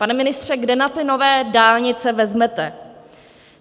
Pane ministře, kde na ty nové dálnice vezmete?